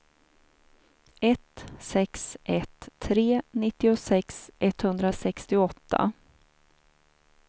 ett sex ett tre nittiosex etthundrasextioåtta